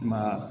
Ma